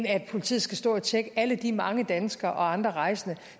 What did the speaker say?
at politiet skal stå og tjekke alle de mange danskere og andre rejsende